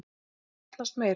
Það þurfti sjaldnast meira.